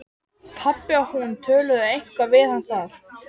Pabbi og hún töluðu eitthvað við hann þar.